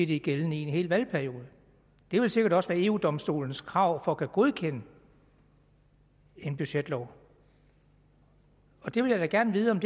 det er gældende i en hel valgperiode det vil sikkert også være eu domstolens krav for at godkende en budgetlov det vil jeg da gerne vide om